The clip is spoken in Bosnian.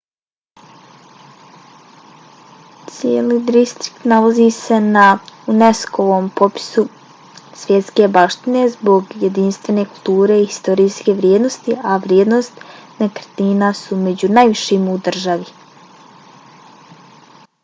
cijeli distrikt nalazi se na unesco-ovom popisu svjetske baštine zbog jedinstvene kulturne i historijske vrijednosti a vrijednosti nekretnina su među najvišim u državi